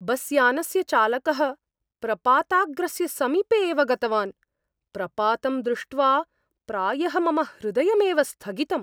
बस्यानस्य चालकः प्रपाताग्रस्य समीपे एव गतवान्, प्रपातं दृष्ट्वा प्रायः मम हृदयमेव स्थगितम्।